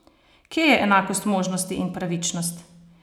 Kje je enakost možnosti in pravičnost?